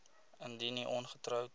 indien u ongetroud